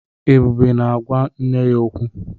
Ebube na-agwa nne ya okwu.